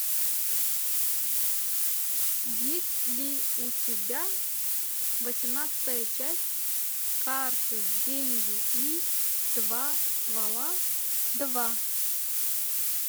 есть ли у тебя восемнадцатая часть карты деньги и два ствола два